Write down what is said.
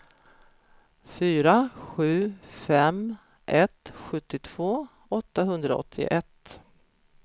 fyra sju fem ett sjuttiotvå åttahundraåttioett